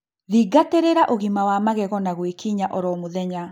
Thingatĩrĩrĩa ũgima wa magego na gwĩkinya oro mũthenya